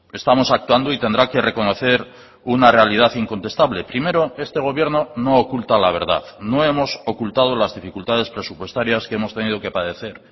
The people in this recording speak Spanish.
estamos actuando y tendrá que reconocer una realidad incontestable primero este gobierno no oculta la verdad no hemos ocultado las dificultades presupuestarias que hemos tenido que padecer